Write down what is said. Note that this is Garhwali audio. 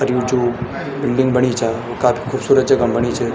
अर यु जु बिल्डिंग बणी चा वो काफी खूबसूरत जगा म बणी च।